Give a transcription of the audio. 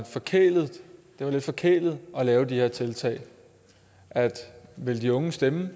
lidt forkælet at lave de her tiltag at ville de unge stemme